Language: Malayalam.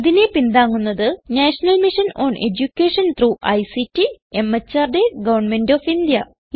ഇതിനെ പിന്താങ്ങുന്നത് national mission on education through ICT MHRD government of India